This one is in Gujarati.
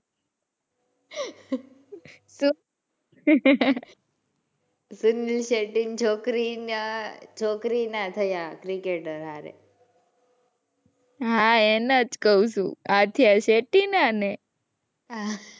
સુનિલ શેટ્ટી ની છોકરી નાં છોકરી નાં થયા ક્રિકેટર હારે. હાં એના જ કવ છું આથિયા શેટ્ટી નાં ને.